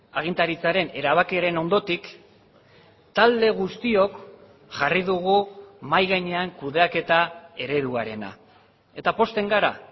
agintaritzaren erabakiaren ondotik talde guztiok jarri dugu mahai gainean kudeaketa ereduarena eta pozten gara